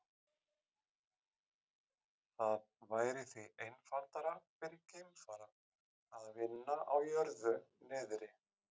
Það væri því einfaldara fyrir geimfara að vinna á jörðu niðri.